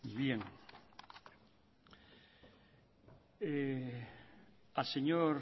bien al señor